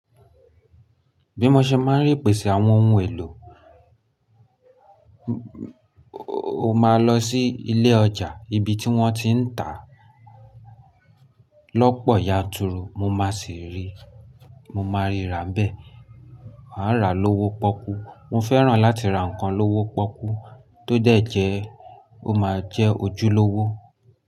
Bí mo ṣe máa ń rí ìpèsè àwọn ohun èlò, o máa lọ sí ilé ọjà, ibi tí wọ́n ti ń tà lọ́pọ̀ yanturu, mo máa sì rí, mo máa ríra n bẹ́ẹ̀. A a ra lówó pọ́kú. Mo fẹ́ràn láti ra nǹkan lówó pọ́kú tó dẹ̀jẹ́, ó máa jẹ́ ojúlówó.